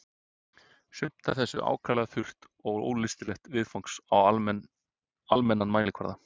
Sumt af þessu ákaflega þurrt og ólystilegt viðfangs á almennan mælikvarða.